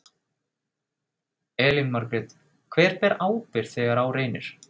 Elín Margrét: Hver ber ábyrgð þegar að á reynir?